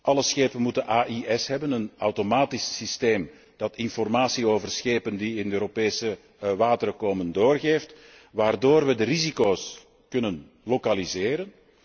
Alle schepen moeten AIS hebben, een automatisch systeem dat informatie over schepen die in de Europese wateren komen, doorgeeft, waardoor we de risico's kunnen lokaliseren.